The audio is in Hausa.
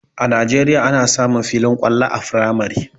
A najeriya ana samun filin kwallo a firamare